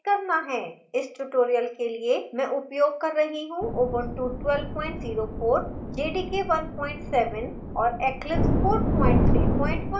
इस tutorial के लिए मैं उपयोग कर रही हूँ ubuntu ऊबंटु 1204 jdk 17 और eclipse 431